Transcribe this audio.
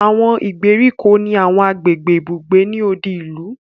Àwọn ìgbèríko ni àwọn agbègbè ibùgbé ni odi ìlú